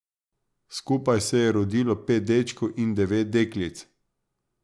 Skupaj se je rodilo pet dečkov in devet deklic.